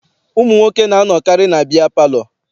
Ụmụ nwoke na-anọkarị na biya palọ.